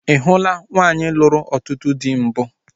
Ị hụula nwaanyị lụrụ ọtụtụ dị mbụ?